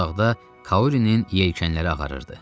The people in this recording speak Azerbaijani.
Uzaqda Kaurinin yelkənləri ağarırdı.